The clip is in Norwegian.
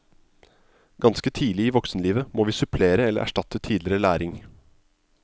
Ganske tidlig i voksenlivet må vi supplere eller erstatte tidligere læring.